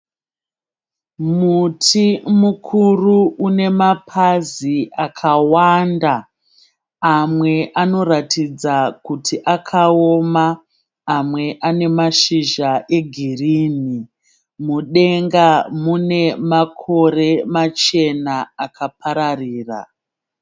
Muti mukuru une mapazi akawanda. Amwe anoratidza kuti akaoma. Amwe ane mashizha egirinhi. Mudenga mune makore machena akapararira.